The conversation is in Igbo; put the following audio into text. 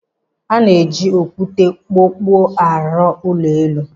A na-eji okwute okpokpo arụ ụlọ elu.